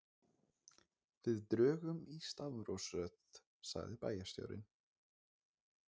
Við drögum í stafrófsröð sagði bæjarstjórinn.